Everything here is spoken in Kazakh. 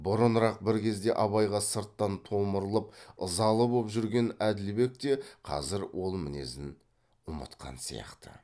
бұрынырақ бір кезде абайға сырттан томырылып ызалы боп жүрген әділбек те қазір ол мінезін ұмытқан сияқты